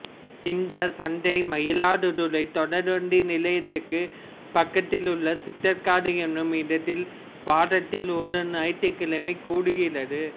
இந்தச் சந்தை மயிலாடுதுறை தொடர்வண்டி நிலையத்துக்கு பக்கத்திலே உள்ள சித்தர்காடு என்னும் இடத்தில் வாரத்தில் ஒருநாள் ஞாயிற்றுக் கிழமை கூடுகிறது